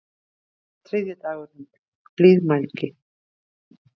Þriðji dagurinn: Blíðmælgi.